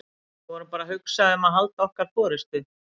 Við vorum bara að hugsa um að halda okkar forystu.